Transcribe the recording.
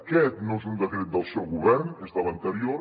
aquest no és un decret del seu govern és de l’anterior